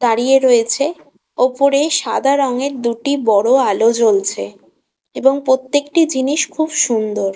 দাঁড়িয়ে রয়েছে ওপরে সাদা রঙের দুটি বড় আলো জ্বলছে এবং প্রত্যেকটি জিনিস খুব সুন্দর।